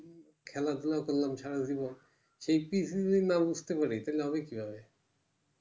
খেলা ধুলা করলাম সারাজীবন সেই পিচ যদি না বুঝতে পারি তাহলে হবে কি ভাবে